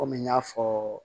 Kɔmi n y'a fɔ